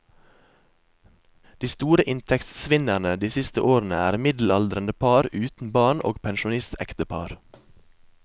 De store inntektsvinnerne de siste årene er middelaldrende par uten barn og pensjonistektepar.